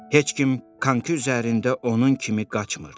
Heç kim konki üzərində onun kimi qaçmırdı.